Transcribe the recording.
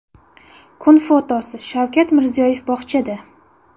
Kun fotosi: Shavkat Mirziyoyev bog‘chada.